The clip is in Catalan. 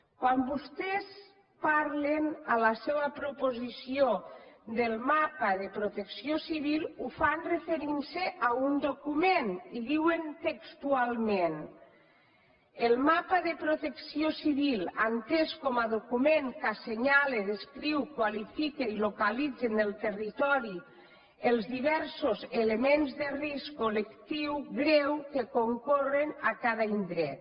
quan vostès parlen en la seua proposició del mapa de protecció civil ho fan referint se a un document i diuen textualment el mapa de protecció civil entès com a document que assenyala descriu qualifica i localitza en el territori els diversos elements de risc col·lectiu greu que concorren a cada indret